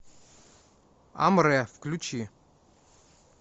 амре включи